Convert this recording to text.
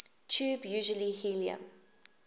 tube usually helium